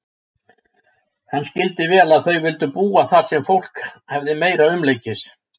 Hann skildi vel að þau vildu búa þar sem fólk hefði meira umleikis.